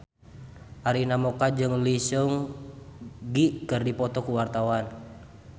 Arina Mocca jeung Lee Seung Gi keur dipoto ku wartawan